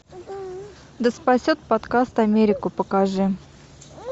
да спасет подкаст америку покажи